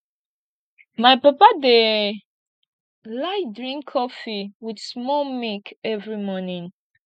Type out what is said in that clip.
my papa dey like drink cofee wit small milk every morning